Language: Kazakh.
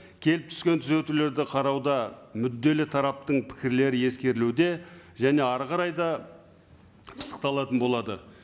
келіп түскен түзетулерді қарауда мүдделі тараптың пікірлері ескерілуде және әрі қарай да пысықталатын болады